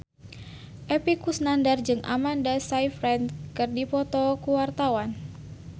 Epy Kusnandar jeung Amanda Sayfried keur dipoto ku wartawan